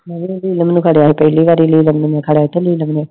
I